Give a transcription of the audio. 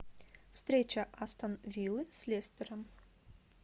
встреча астон виллы с лестером